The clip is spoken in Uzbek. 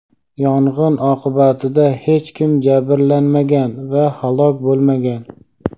Yong‘in oqibatida hech kim jabrlanmagan va halok bo‘lmagan.